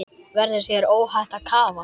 Verður þér óhætt að kafa?